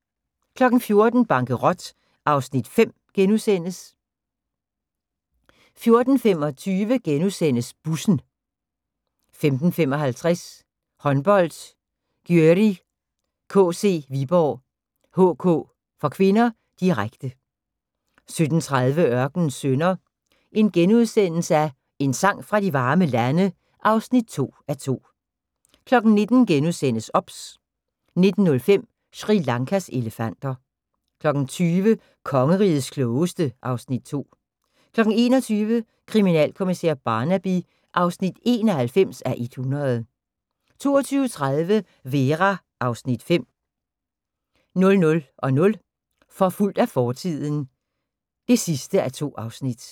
14:00: Bankerot (Afs. 5)* 14:25: Bussen * 15:55: Håndbold: Györi KC-Viborg HK (k), direkte 17:30: Ørkenens Sønner – En sang fra de varme lande (2:2)* 19:00: OBS * 19:05: Sri Lankas elefanter 20:00: Kongerigets Klogeste (Afs. 2) 21:00: Kriminalkommissær Barnaby (91:100) 22:30: Vera (Afs. 5) 00:00: Forfulgt af fortiden (2:2)